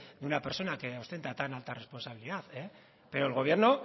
de una persona que ostenta tan alta responsabilidad pero el gobierno